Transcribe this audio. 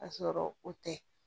Ka sɔrɔ o tɛ